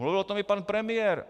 Mluvil o tom i pan premiér.